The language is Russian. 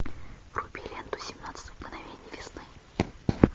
вруби ленту семнадцать мгновений весны